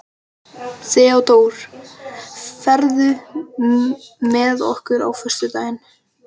Theódór, ferð þú með okkur á föstudaginn?